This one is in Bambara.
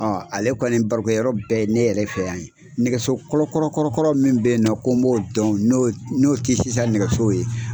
Ale kɔni baro kɛ yɔrɔ bɛɛ ye, ne yɛrɛ fɛ yan ye, nɛgɛsokɔrɔkɔrɔkɔrɔ mun be yen nɔn ko n b'o dɔn n'o tɛ sisan nɛgɛsow ye